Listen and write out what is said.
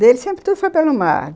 Dele sempre tudo foi pelo mar.